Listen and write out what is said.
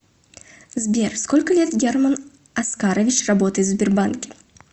сбер сколько лет герман оскарович работает в сбербанке